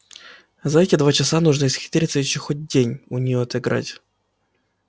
за эти два часа нужно исхитриться ещё хоть день у нее отыграть